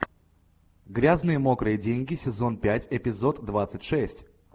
грязные мокрые деньги сезон пять эпизод двадцать шесть